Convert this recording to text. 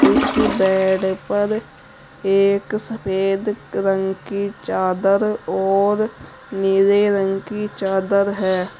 उसे बेड पर एक सफेद रंग की चादर और नीले रंग की चादर है।